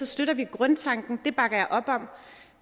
støtter vi grundtanken det bakker jeg op om